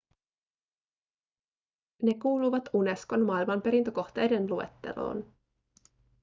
ne kuuluvat unescon maailmanperintökohteiden luetteloon